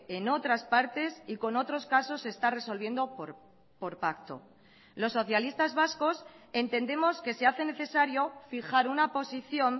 en otras partes y con otros casos se está resolviendo por pacto los socialistas vascos entendemos que se hace necesario fijar una posición